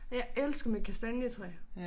Jeg elsker mit kastanjetræ